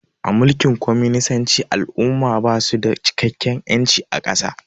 A mulkin kwaminisanci al'umma basu da cikakken ƴanci a ƙasa